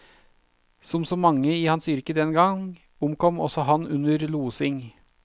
Som så mange i hans yrke den gang, omkom også han under losing.